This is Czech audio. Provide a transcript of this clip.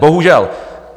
Bohužel.